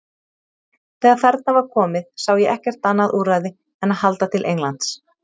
Þegar þarna var komið sá ég ekkert annað úrræði en að halda til Englands.